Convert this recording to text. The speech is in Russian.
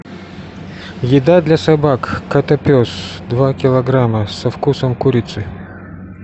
еда для собак котопес два килограмма со вкусом курицы